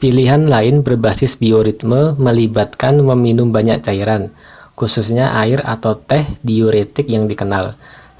pilihan lain berbasis bioritme melibatkan meminum banyak cairan khususnya air atau teh diuretik yang dikenal